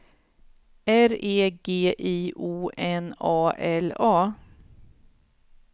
R E G I O N A L A